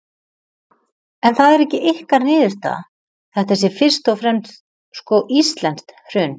En það er ekki ykkar niðurstaða, þetta sé fyrst og fremst, sko, íslenskt hrun?